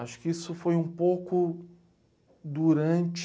Acho que isso foi um pouco durante...